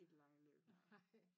I det lange løb nej